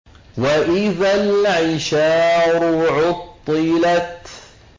وَإِذَا الْعِشَارُ عُطِّلَتْ